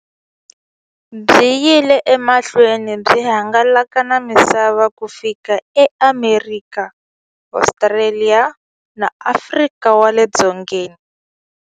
Byi yile emahlweni byi hangalaka na misava ku fika eAmerika, Ostraliya na Afrika wale dzongeni.